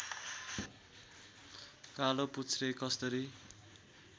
कालोपुच्छ्रे कस्दरी